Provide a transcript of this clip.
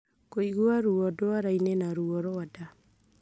Kũigua ruo dwara-inĩ, na ruo rwa nda.